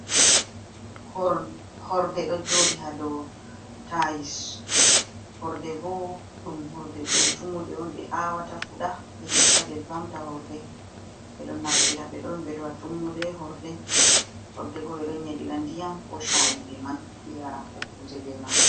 Horde do jodi hado tayis horde bo dum tummude on be awata fuda be itta be vamta horde, be don naftira be don bedo a tummude horde horde bo be don yedira ndiyam ko chayi be man be yara bo kuje be man.